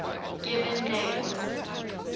given names